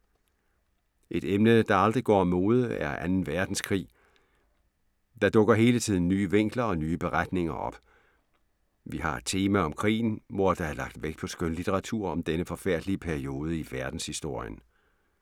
Et emne, der aldrig går af mode er 2. Verdenskrig. Der dukker hele tiden nye vinkler og nye beretninger op. Vi har et tema om krigen, hvor der er lagt vægt på skønlitteratur om denne forfærdelige periode i verdenshistorien.